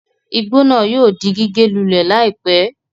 Igbó náà yóò di gígé lulẹ̀ láìpé